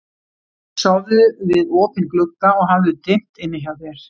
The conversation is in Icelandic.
Sofðu við opinn glugga og hafðu dimmt inni hjá þér.